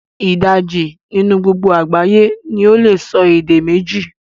Idaji ninu gbogbo agbaye ni ole so ede meji